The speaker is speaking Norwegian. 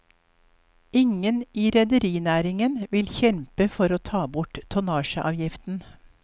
Ingen i rederinæringen vil kjempe for å ta bort tonnasjeavgiften.